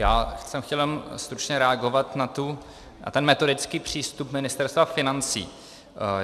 Já jsem chtěl jenom stručně reagovat na ten metodický přístup Ministerstva financí.